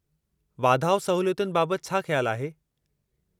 वाधाउ सहूलियतुनि बाबति छा ख़्यालु आहे?